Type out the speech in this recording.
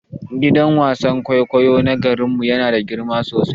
Gidan wasan kwaikwayo na garin mu yana da girma sosai.